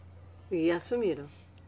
E assumiram.